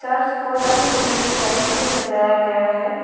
और इसको रंग बिरंगे लाइट से सजाया गया है।